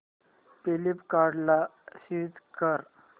फ्लिपकार्टं ला स्विच कर